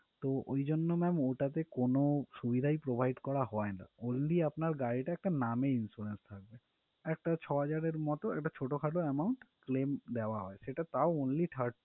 তো ওই জন্য ma'am ওটাতে কোনো সুবিধাই provide করা হয়না only আপনার গাড়িটা একটা নামে insurance থাকবে আর একটা ছ হাজারের মতো ছোট খাট একটা claim দেওয়া হয় সেটা তাও only third